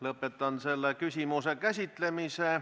Lõpetan selle küsimuse käsitlemise.